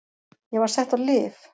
Ég var sett á lyf.